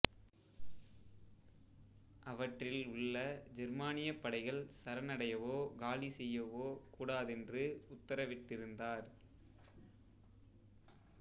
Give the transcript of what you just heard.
அவற்றில் உள்ள ஜெர்மானியப் படைகள் சரணடையவோ காலி செய்யவோ கூடாதென்று உத்தரவிட்டிருந்தார்